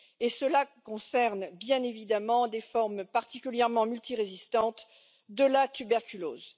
Et cela concerne bien évidemment des formes particulièrement multirésistantes de la tuberculose.